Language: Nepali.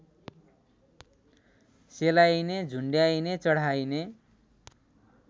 सेलाइने झुन्ड्याइने चढाइने